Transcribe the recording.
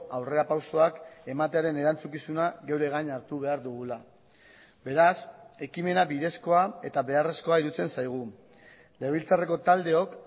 aurrerapausoak ematearen erantzukizuna geure gain hartu behar dugula beraz ekimena bidezkoa eta beharrezkoa iruditzen zaigu legebiltzarreko taldeok